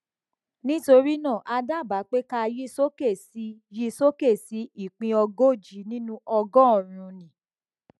nítorí náà a dábàá pé ká yin soke si yin soke si ìpín ogójì nínú ọgọrùnún